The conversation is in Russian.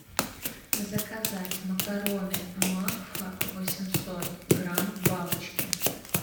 заказать макароны макфа восемьсот грамм бабочки